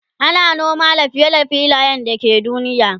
ana noma da fiye da Rabin filayen da ke duniya